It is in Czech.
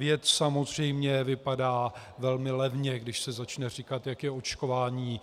Věc samozřejmě vypadá velmi levně, když se začne říkat, jak je očkování